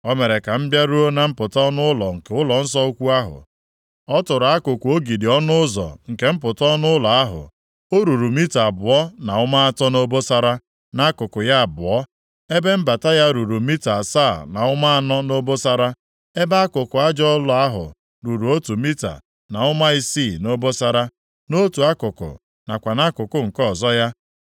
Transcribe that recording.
O mere ka m bịaruo na mpụta ọnụ ụlọ nke ụlọnsọ ukwu ahụ, ọ tụrụ akụkụ ogidi ọnụ ụzọ nke mpụta ọnụ ụlọ ahụ, o ruru mita abụọ na ụma atọ nʼobosara, nʼakụkụ ya abụọ. Ebe mbata ya ruru mita asaa na ụma anọ nʼobosara, ebe akụkụ aja ụlọ ahụ ruru otu mita na ụma isii nʼobosara, nʼotu akụkụ nakwa nʼakụkụ nke ọzọ ya.